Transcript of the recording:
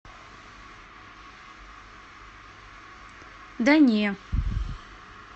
да не